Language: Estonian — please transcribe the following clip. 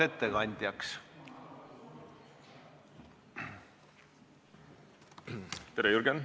Tere, Jürgen!